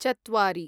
चत्वारि